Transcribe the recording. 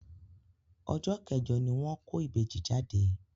Ọjọ́ kẹ́jọ ní wọ́n kó ìbejì jáde